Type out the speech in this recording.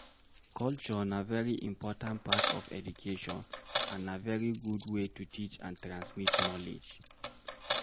Culture na very important part of education and na very good way to teach and transmit knowledge